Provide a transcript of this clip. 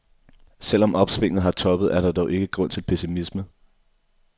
Selv om opsvinget har toppet, er der dog ikke grund til pessimisme.